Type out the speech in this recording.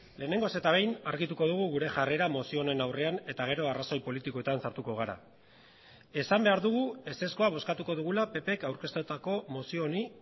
lehenengoz eta behin argituko dugu gure jarrera mozio honen aurrean eta gero arrazoi politikoetan sartuko gara esan behar dugu ezezkoa bozkatuko dugula ppk aurkeztutako mozio honi